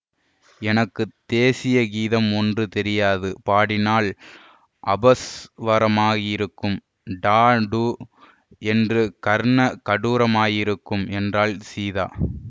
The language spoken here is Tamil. எனக்கு தேசீய கீதம் ஒன்று தெரியாது பாடினாலும் அபஸ்வரமாயிருக்கும் டா டூ என்று கர்ண கடூரமாயிருக்கும் என்றாள் சீதா